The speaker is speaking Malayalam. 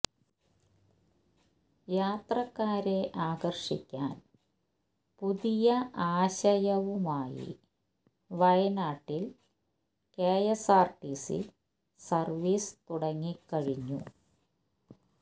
യാത്രക്കാരെ ആകര്ഷിക്കാന് പുതിയ ആശയവുമായി വയനാട്ടില് കെഎസ്ആര്ടിസി സര്വ്വീസ് തുടങ്ങി കഴിഞ്ഞു